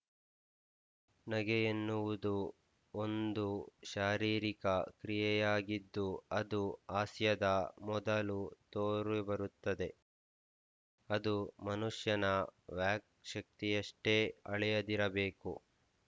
ನಗೆಯೆನ್ನುವುದು ಒಂದು ಶಾರೀರಿಕ ಕ್ರಿಯೆಯಾಗಿದ್ದು ಅದು ಹಾಸ್ಯದ ಮೊದಲು ತೋರಿಬರುತ್ತದೆ ಅದು ಮನುಷ್ಯನ ವ್ಯಾಕ್‍ಶಕ್ತಿಯಷ್ಟೇ ಹಳೆಯದಿರಬೇಕು